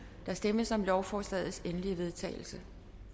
stemmes om lovforslagets endelige vedtagelse